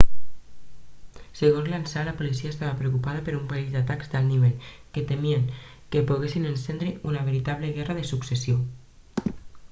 segons l'ansa la policia estava preocupada per un parell d'atacs d'alt nivell que temien que poguessin encendre una veritable guerra de successió